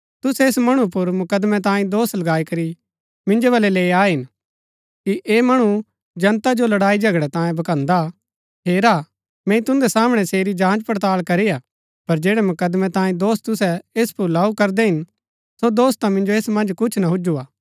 तुसै ऐस मणु पुर मुकदमैं तांई दोष लगाई करी मिन्जो बलै लैई आये हिन कि ऐह मणु जनता जो लड़ाई झगड़ै तांऐ भकान्‍दा हेरा मैंई तुन्दै सामणै सेरी जांच पड़ताल करी हा पर जैड़ै मुकदमैं तांई दोष तुसै ऐस पुर लऊ करदै हिन सो दोष ता मिन्जो ऐस मन्ज कुछ ना हुज्‍जु हा